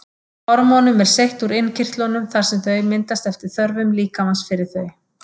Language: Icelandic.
Hormónum er seytt úr innkirtlunum þar sem þau myndast eftir þörfum líkamans fyrir þau.